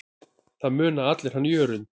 Það muna allir hann Jörund.